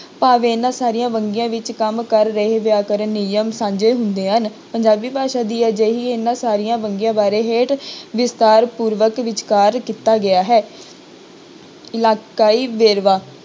ਭਾਵੇਂ ਇਹਨਾਂ ਸਾਰੀਆਂ ਵੰਨਗੀਆਂ ਵਿੱਚ ਕੰਮ ਕਰ ਰਹੇ ਵਿਅਕਰਨ ਨਿਯਮ ਸਾਂਝੇ ਹੁੰਦੇ ਹਨ, ਪੰਜਾਬੀ ਭਾਸ਼ਾ ਦੀ ਅਜਿਹੀ ਇਹਨਾਂ ਸਾਰੀਆਂ ਵੰਨਗੀਆਂ ਬਾਰੇ ਹੇਠ ਵਿਸਥਾਰ ਪੂਰਵਕ ਵਿਚਾਰ ਕੀਤਾ ਗਿਆ ਹੈ ਇਲਾਕਾਈ ਵੇਰਵਾ,